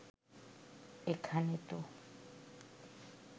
এখানে তো